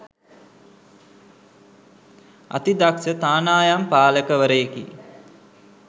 අති දක්ෂ තානායම් පාලකවරයෙකි